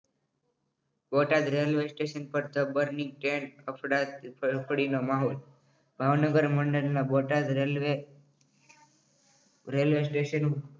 Botad railway station પર અફ્ડા તફડીનો માહોલ. ભાવનગર મંડળના બોટાદ રેલવે રેલ્વે સ્ટેશન